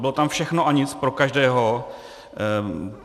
Bylo tam všechno a nic - pro každého.